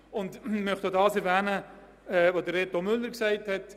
Ich möchte noch auf das hinweisen, was Reto Müller gesagt hat: